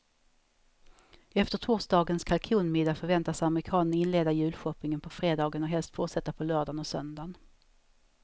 Efter torsdagens kalkonmiddag förväntas amerikanen inleda julshoppingen på fredagen och helst fortsätta på lördagen och söndagen.